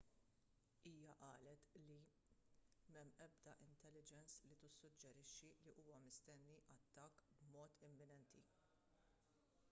hija qalet li m'hemm ebda intelligence li tissuġġerixxi li huwa mistenni attakk b'mod imminenti